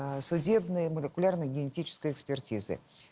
а судебные молекулярно-генетической экспертизы